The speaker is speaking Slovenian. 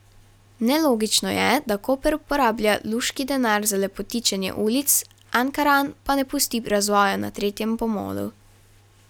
Nelogično je, da Koper porablja luški denar za lepotičenje ulic, Ankaran pa ne pusti razvoja na tretjem pomolu.